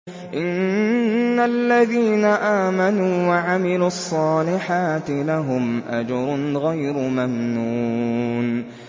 إِنَّ الَّذِينَ آمَنُوا وَعَمِلُوا الصَّالِحَاتِ لَهُمْ أَجْرٌ غَيْرُ مَمْنُونٍ